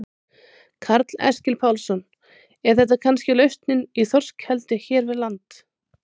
Karl Eskil Pálsson: Er þetta kannski lausnin í þorskeldi hér við land?